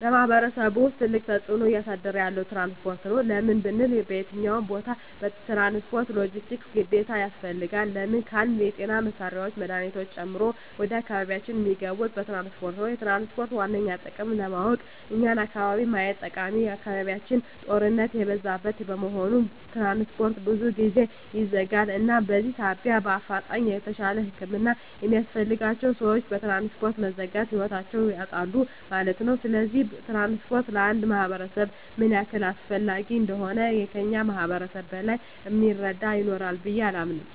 በማሕበረሰቡ ውስጥ ትልቅ ተፅዕኖ እያሳደረ ያለዉ ትራንስፖርት ነዉ። ለምን ብንል በየትኛዉም ቦታ ትራንስፖርት(ሎጀስቲክስ) ግዴታ ያስፈልጋል። ለምን ካልን የጤና መሳሪያወች መድሀኒቶችን ጨምሮ ወደ አካባቢያችን እሚገቡት በትራንስፖርት ነዉ። የትራንስፖርትን ዋነኛ ጥቅም ለማወቅ የኛን አካባቢ ማየት ጠቃሚ አካባቢያችን ጦርነት የበዛበት በመሆኑ ትራንስፖርት ብዙ ጊዜ ይዘጋል እናም በዚህ ሳቢያ በአፋጣኝ የተሻለ ህክምና የሚያስፈልጋቸዉ ሰወች በትራንስፖርት መዘጋት ህይወታቸዉን ያጣሉ ማለት ነዉ። ስለዚህ ትራንስፖርት ለአንድ ማህበረሰብ ምን ያህል አስፈላጊ እንደሆነ ከእኛ ማህበረሰብ በላይ እሚረዳ ይኖራል ብየ አላምንም።